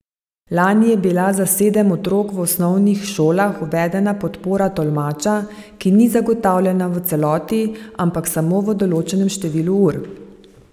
Lani je bila za sedem otrok v osnovnih šolah uvedena podpora tolmača, ki ni zagotovljena v celoti, ampak samo v določenem številu ur.